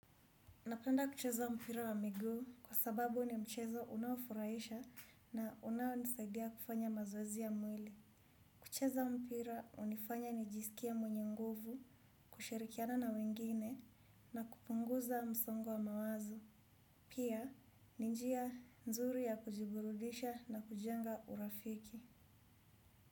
Napenda kucheza mpira wa miguu kwa sababu ni mchezo unaofuraisha na unaonisaidia kufanya mazoezi ya mwili. Kucheza mpira unifanya nijisikie mwenye nguvu, kushirikiana na wengine na kupunguza msongo wa mawazo. Pia ni njia nzuri ya kujiburudisha na kujenga urafiki.